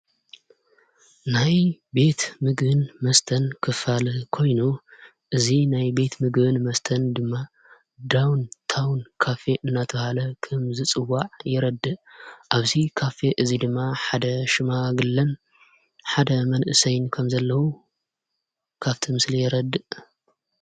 ናይ ቤት ምግን መስተን ክፋልህ ኮይኑ እዙ ናይ ቤት ምግን መስተን ድማ ዳውን ታውን ካፌ እናተውሃለ ኸም ዝጽዋዕ የረድእ ኣብዚ ካፌ እዙይ ድማ ሓደ ሽማ ግለን ሓደ መንእ ሰይን ከም ዘለዉ ካፍቲ ምስለ የረድእ።